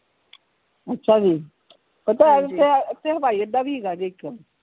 ਅੱਛਾ ਜੀ ਓਥੇ ਹਵਾਈ ਅੱਡਾ ਵੀ ਹੇਗਾ ਜੇ ਇਕ